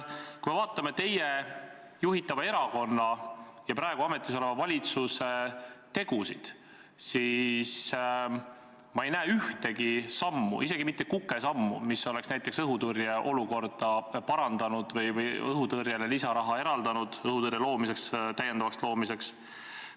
Kui ma vaatan teie juhitava erakonna ja praegu ametis oleva valitsuse tegusid, siis ma ei näe ühtegi sammu, isegi mitte kukesammu, mis oleks näiteks õhutõrje olukorda parandanud või eraldanud lisaraha õhutõrje täiendavaks loomiseks.